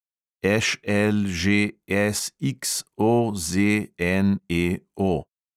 ŠLŽSXOZNEO